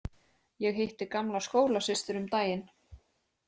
Ég hitti gamla skólasystur um daginn.